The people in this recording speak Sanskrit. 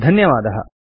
समयदानाय धन्यवादः